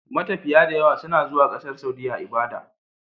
Matafiya dayawa suna zuwa ƙasar saudiya ibada